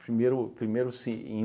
Primeiro primeiro se